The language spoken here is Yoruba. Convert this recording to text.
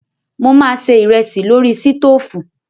Mo máa se ìrẹsì lórí sítóòfù.